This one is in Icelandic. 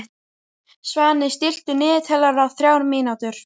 Svani, stilltu niðurteljara á þrjár mínútur.